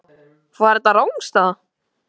Var þetta rangstaða?